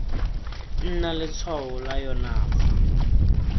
nna letshwao la yona fa